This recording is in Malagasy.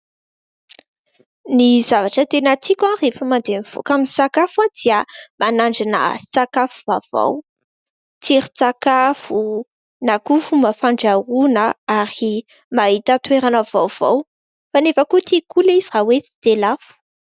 Ny zavatra tena tiako rehefa mandeha mivoaka misakafo aho, dia ny manandrana sakafo vaovao, tsiron-tsakafo, na koa fomba fandrahoana, ary mahita toerana vaovao. Kanefa koa, tiako koa ilay izy raha hoe tsy dia lafo.